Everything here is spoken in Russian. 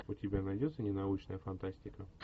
у тебя найдется ненаучная фантастика